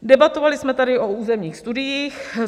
Debatovali jsme tady o územních studiích.